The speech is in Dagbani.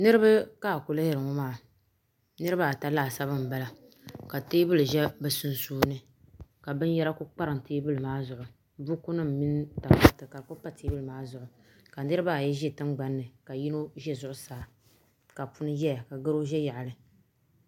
Niriba ka a ku lihiri ŋɔ maa niriba ata laasabu n bala ka teebuli zi bi sunsuuni ka binyara ku kparim teebuli maa zuɣu buku nim mini takariti ka di ku pa teebuli maa zuɣu ka niriba ayi zi tiŋgbani ka yino zi zuɣu saaka puni yɛya ka garo ʒɛ yaɣili.